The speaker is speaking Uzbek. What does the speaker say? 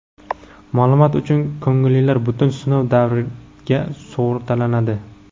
Ma’lumot uchun, ko‘ngillilar butun sinov davriga sug‘urtalanadi.